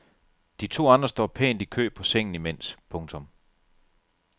De to andre står pænt i kø på sengen imens. punktum